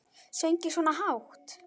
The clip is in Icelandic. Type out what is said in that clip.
Söng ég svona hátt?